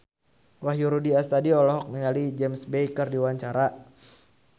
Wahyu Rudi Astadi olohok ningali James Bay keur diwawancara